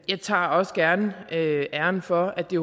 jeg tager også gerne æren for at det